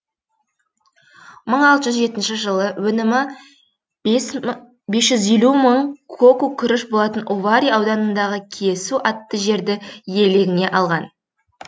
мың алты жүз жетінші жылы өнімі бес жүз елу мың коку күріш болатын овари ауданындағы киесу атты жерді иелігіне алған